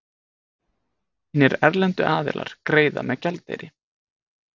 Hinir erlendu aðilar greiða með gjaldeyri.